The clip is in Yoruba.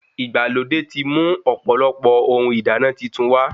Ìgbàlódé ti mú ọ̀pọ̀lọpọ̀ ohun ìdáná titun wá